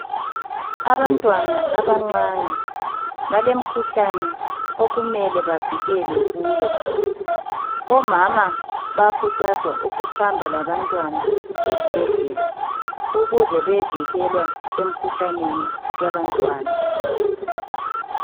Abantwana abancane balemikhuhlane okumele bavikelwe kuyo omama bayakhuthazwa ukuhamba labantwana esibhedlela ukuze beyevikelwe emkhuhlaneni yabantwana.